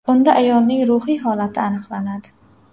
Unda ayolning ruhiy holati aniqlanadi.